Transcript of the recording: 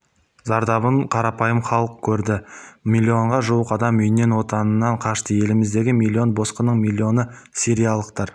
зардабын қарапайым халық көрді миллионға жуық адам үйінен отанынан қашты еліміздегі миллион босқынның миллионы сириялықтар